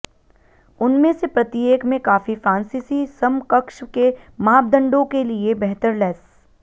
उनमें से प्रत्येक में काफी फ्रांसीसी समकक्ष के मापदंडों के लिए बेहतर लैस